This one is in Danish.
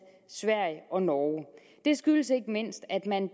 sverige og norge det skyldes ikke mindst at man